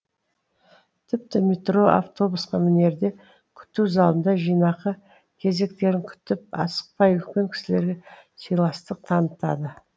тіпті метро автобусқа мінерде күту залында жинақы кезектерін күтіп асықпай үлкен кісілерге сыйластық танытады